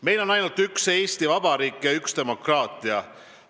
Meil on ainult üks Eesti Vabariik ja üks demokraatia.